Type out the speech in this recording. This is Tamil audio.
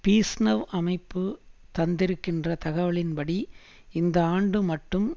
பீஸ்நவ் அமைப்பு தந்திருக்கின்ற தகவலின்படி இந்த ஆண்டு மட்டும்